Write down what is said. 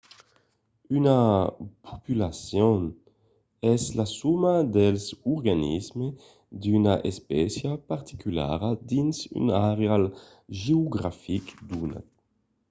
una populacion es la soma dels organismes d’una espécia particulara dins un airal geografic donat